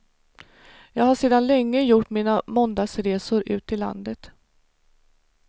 Jag har sedan länge gjort mina måndagsresor ut i landet.